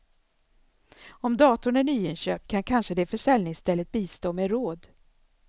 Om datorn är nyinköpt kan kanske det försäljningsstället bistå med råd.